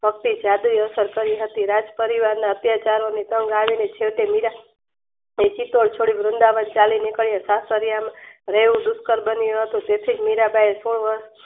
ભક્તિ જાદુઈ અસર કરી હતી રાજ પરિવારના અત્યચારોની છેવટે મીરા છોડી વૃંદાવન ચાલીનીકળ્યો સાસરિયામાં રહી ઝુકર બન્યું હતું તેથી મીરાંબાઇયે સો વર્ષ